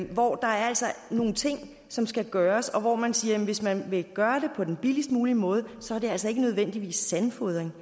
hvor der altså er nogle ting som skal gøres og hvor man siger at hvis man vil gøre det på den billigst mulige måde så er det altså ikke nødvendigvis sandfodring